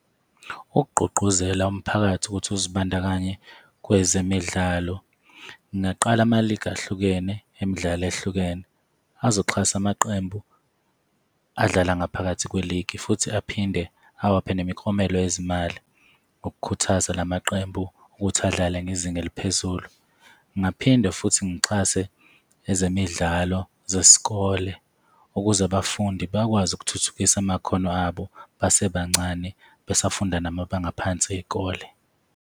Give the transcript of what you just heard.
Ukugqugquzela umphakathi ukuthi uzibandakanye kwezemidlalo, ngingaqala ama-league ahlukene emidlalo ehlukene azoxhasa amaqembu adlala ngaphakathi kwe-league futhi aphinde awaphe nemiklomelo yezimali ukukhuthaza la maqembu ukuthi adlale ngezinga eliphezulu. Ngingaphinde futhi ngixhase ezemidlalo zesikole, ukuze abafundi bakwazi ukuthuthukisa amakhono abo basebancane, besafunda namabanga aphansi ey'kole.